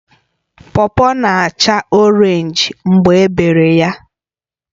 Pọpọ na-acha Orénj mgbe ebere ya